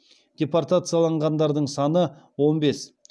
депортацияланғандардың саны он бес